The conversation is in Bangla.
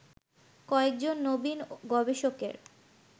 কয়েকজন নবীন গবেষকের